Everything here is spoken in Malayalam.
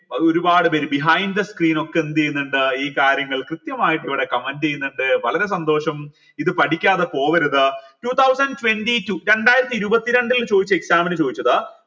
ഒരുപാട് പേര് behind the screen ഒക്കെ എന്തെയ്ന്നിണ്ട് ഈ കാര്യങ്ങൾ കൃത്യമായിട്ട് comment ചെയ്യുന്നുണ്ട് വളരെ സന്തോഷം ഇത് പഠിക്കാതെ പോവരുത് two thousand twenty two രണ്ടായിരത്തി ഇരുപത്തിരണ്ടിൽ ചോയ്ച്ച exam ന് ചോദിച്ചത്